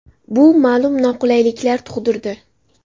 Bu ma’lum noqulayliklar tug‘dirdi.